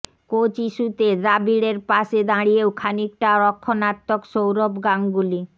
coach ইস্যুতে দ্রাবিড়ের পাশে দাঁড়িয়েও খানিকটা রক্ষণাত্মক সৌরভ গাঙ্গুলি